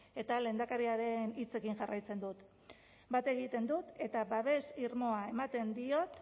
eta lehendakariaren hitzekin jarraitzen dut bat egiten dut eta babes irmoa ematen diot